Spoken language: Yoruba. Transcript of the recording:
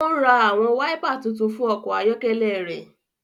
O n rá àwọn waipà tuntun fún ọkọ ayọkẹlẹ rẹ